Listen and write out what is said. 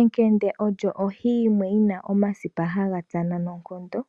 Ekende olyo ohi yomwe yina omasipa haga tsana noonkondo,